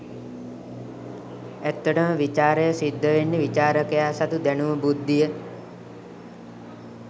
ඇත්තට ම විචාරය සිද්ධ වෙන්නෙ විචාරකයා සතු දැනුම බුද්ධිය